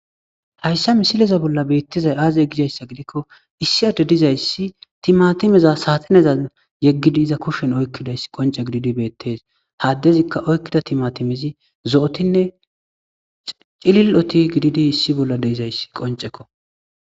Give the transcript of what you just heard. Hayisa misileza bollan betizay azegidaysa gidiko issi ade dizayis timatimeza saxinezan yegidi iza kushen oyikideys qonice gididi betes ha adezika oyikida timatimezi zo'otine cililoti issi bolla dizayis qoniceko